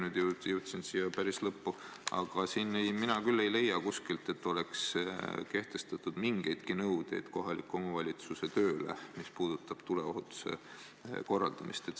Nüüd jõudsin siia päris lõppu, aga mina küll ei leia kuskilt, et oleks kehtestatud mingidki nõuded kohaliku omavalitsuse tuleohutustöö korraldamise kohta.